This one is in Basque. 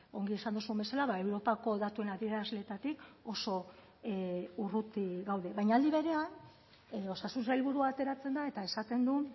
ongi esan duzun bezala europako datuen adierazleetatik oso urruti gaude baina aldi berean osasun sailburua ateratzen da eta esaten du